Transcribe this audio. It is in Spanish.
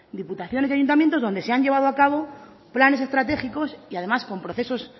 diputaciones y ayuntamientos donde se han llevado a cabo planes estratégicos y además con procesos